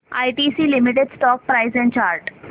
ITC limited stock price and chart